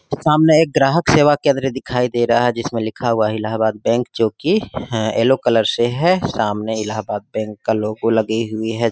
एक सामने एक ग्राहक सेवा केंद्र दिखाई दे रहा है जिसमे लिखा हुआ है इलाहाबाद बैंक जो की है येल्लो कलर से है सामने इलाहाबाद बैंक का लोगो लगी हुई है|